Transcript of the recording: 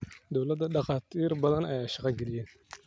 Dowladha dhakaatir badaan ayay shaga kaliyeen.